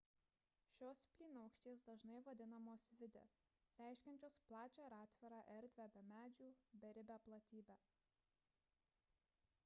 šios plynaukštės dažnai vadinamos vidde reiškiančios plačią ir atvirą erdvę be medžių beribę platybę